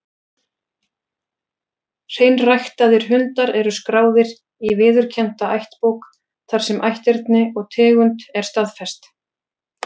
Hreinræktaðir hundar eru skráðir í viðurkennda ættbók, þar sem ætterni og tegund er staðfest.